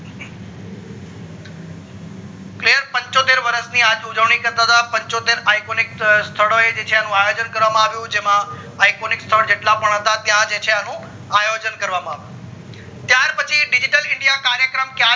clear પંચોતેર વર્ષ આજ થી ઉજવણી કરતા હતા પંચોતેર iconic સ્થળો એ જે છે અનુ આયોજન કરવામાં આવું જેમાં iconic સ્થળ જેટલા પણ ત્યાં જે છે અનુ આયોજન કરવામાં આવ્યું ત્યાર પછી digital india કાર્યક્રમ